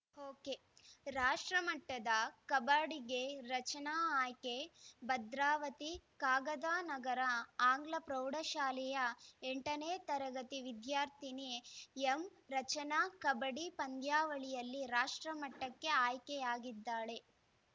ಒಕೆರಾಷ್ಟ್ರಮಟ್ಟದ ಕಬಡ್ಡಿಗೆ ರಚನಾ ಆಯ್ಕೆ ಭದ್ರಾವತಿ ಕಾಗದನಗರ ಆಂಗ್ಲ ಪ್ರೌಢಶಾಲೆಯ ಎಂಟನೇ ತರಗತಿ ವಿದ್ಯಾರ್ಥಿನಿ ಎಂ ರಚನಾ ಕಬಡ್ಡಿ ಪಂದ್ಯಾವಳಿಯಲ್ಲಿ ರಾಷ್ಟ್ರಮಟ್ಟಕ್ಕೆ ಆಯ್ಕೆಯಾಗಿದ್ದಾಳೆ